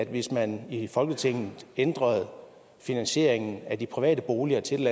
hvis man i folketinget ændrede finansieringen af de private boliger til